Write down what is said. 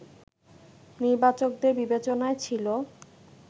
নির্বাচকদের বিবেচনায় ছিল